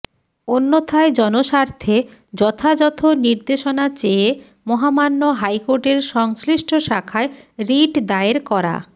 অন্যথায় জনস্বার্থে যথাযথ নির্দেশনা চেয়ে মহামান্য হাইকোর্টের সংশ্লিষ্ট শাখায় রিট দায়ের করা